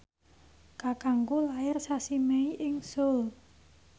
kakangku lair sasi Mei ing Seoul